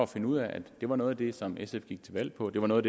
finde ud af at det var noget af det som sf gik til valg på det var noget